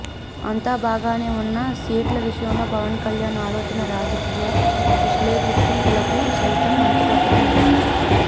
అంతా బాగానే ఉన్నా సీట్ల విషయంలో పవన్ కళ్యాణ్ ఆలోచన రాజకీయ విశ్లేషకులకు సైతం అంతుపట్టడం లేదు